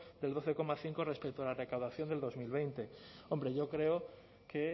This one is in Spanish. del doce coma cinco respecto a la recaudación de dos mil veinte hombre yo creo que